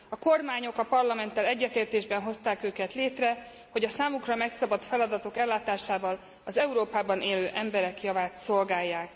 A kormányok a Parlamenttel egyetértésben hozták őket létre, hogy a számukra megszabott feladatok ellátásával az Európában élő emberek javát szolgálják.